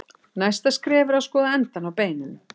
Næsta skref er að skoða endana á beininu.